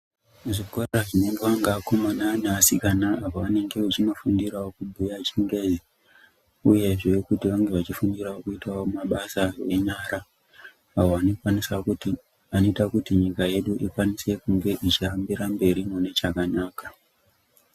Muzvikora zvinoendwa nevakomana nevasikana pavanenge vachinofundirawo kubhuya chingezi uye zvee kuti vange vachinofundirawo kuita mabasa enyara awo anoita kuti nyika yedu ikwanise kunge ichiyambira mberi mune chakanaka.